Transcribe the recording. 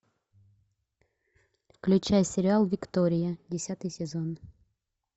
включай сериал виктория десятый сезон